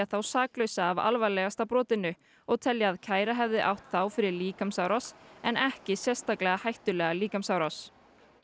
þá saklausa af alvarlegasta brotinu og telja að kæra hefði átt þá fyrir líkamsárás en ekki sérstaklega hættulega líkamsárás